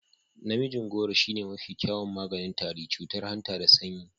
Namijin gworo shine mafi kyawun maganin tari, cutar hanta da sanyi.